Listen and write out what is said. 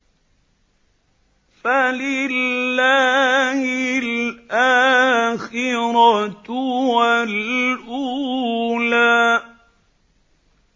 فَلِلَّهِ الْآخِرَةُ وَالْأُولَىٰ